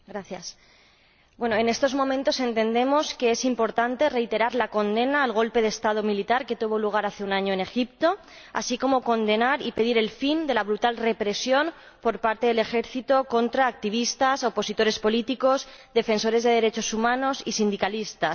Señora Presidenta, en estos momentos entendemos que es importante reiterar la condena al golpe de Estado militar que tuvo lugar hace un año en Egipto, así como condenar y pedir el fin de la brutal represión por parte del Ejército contra activistas, opositores políticos, defensores de derechos humanos y sindicalistas.